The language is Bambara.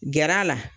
Gɛr'a la